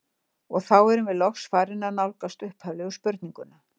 Og þá erum við loks farin að nálgast upphaflegu spurninguna.